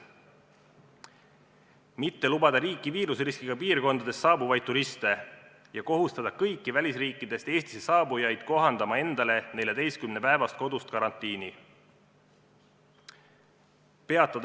Riiki ei tohi lubada viiruseriskiga piirkonnast saabuvaid turiste ja kõik välisriikidest Eestisse saabujad peavad kohandama endale 14-päevast kodust karantiini.